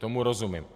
Tomu rozumím.